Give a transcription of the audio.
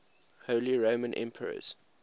holy roman emperors